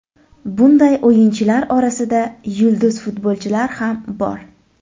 Bunday o‘yinchilar orasida yulduz futbolchilar ham bor.